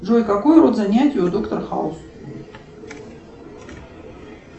джой какой род занятий у доктора хауса